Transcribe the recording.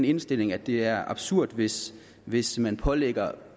indstilling at det er absurd hvis hvis man pålægger